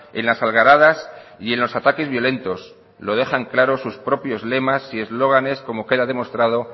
en las algaradas y en los ataques violentos lo dejan claro sus propios lemas y eslóganes como queda demostrado